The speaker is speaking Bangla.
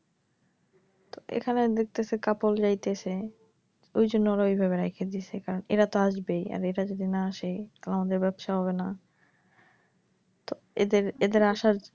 তো এইখানে দেখতেছি couple জাইতেছে ওইজন্য ওরা অভাবে রাইখে দিছে কারন এরা তো আসবেই আর এরা যদি না আসে আমাদের ব্যাবসা হবে না তো এদের, এদের আসা,